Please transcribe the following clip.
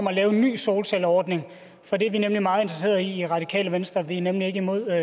at lave en ny solcelleordning for det er vi nemlig meget interesserede i i radikale venstre vi er nemlig ikke imod